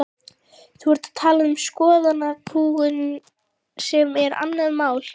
Þú ert að tala um skoðanakúgun sem er annað mál.